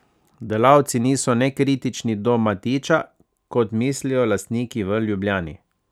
Delavci niso nekritični do Matića, kot mislijo lastniki v Ljubljani.